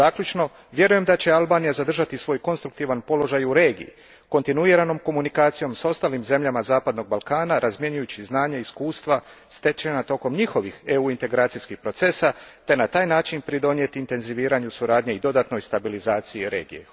Zaključno, vjerujem da će Albanija zadržati svoj konstruktivan položaj i u regiji, kontinuiranom komunikacijom s ostalim zemljama zapadnog Balkana, razmjenjujući znanje i iskustva stečenih tijekom njihovih EU integracijskih procesa, te na taj način pridonijeti intenziviranju suradnje i dodatnoj stabilizaciji regije.